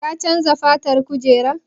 Ka chanza fatan kujerar?